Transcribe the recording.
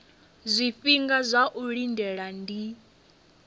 zwifhinga zwa u lindela ndi